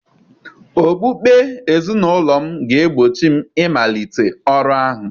Okpukpe ezinụlọ m ga-egbochi m ịmalite ọrụ ahụ